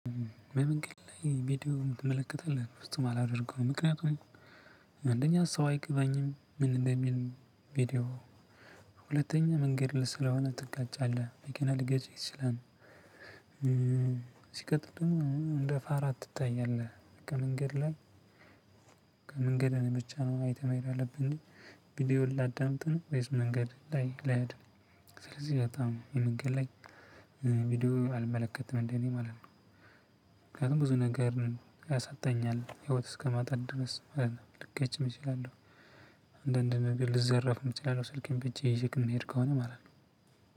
በመንገድ ላይ ቪዲዮ ትመለከታለህ? በፍጹም አላደርገውም። ምክንያቱም አንደኛ ሰው አይገባኝም ምን እንደሚል ቪዲዮው፤ ሁለተኛ መንገድ ለስለሆነ ትጋጫለህ መኪና ሊገጭህ ይችላል። ሲቀጥል ደግሞ ምንም እንደ ፋራ ትታያለህ። ከመንገድ ላይ መንገድ ብቻ ነው ማየት መሄድ ያለብኝ፣ ቪዲዮ ላዳምጥ ነው ወይስ መንገድ ላይ ልሄድ? ስለዚህ በጣም የመንገድ ላይ ቪዲዮ አልመለከትም እንደ እኔ ማለት ነው። ምክንያቱም ብዙ ነገር ያሳጣኛል ህይወት እስከማጣት ድረስ ልገጭም እችላለሁ አንዳንድ ነገር ልዘረፍም እችላለው ስልኬን በእጄ ይዤ የምሄድ ከሆነ ማለት ነው።